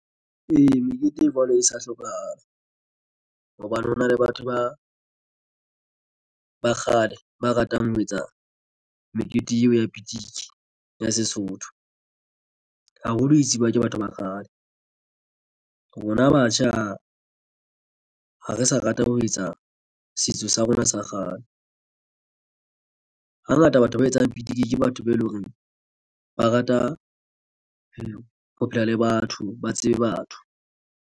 Ee, mekete e jwalo e sa hlokahala hobane hona le batho ba ba kgale, ba ratang ho etsa mekete ya pitiki ya Sesotho haholo tsibiwa ke batho ba kgale rona batjha, ha re sa rata ho etsa setso sa rona sa kgale. Hangata batho ba etsang pitiki ke batho be eleng horeng ba rata ho phela le batho ba tsebe batho.